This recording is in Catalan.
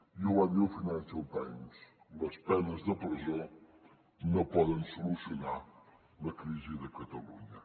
i ho va dir el financial times les penes de presó no poden solucionar la crisi de catalunya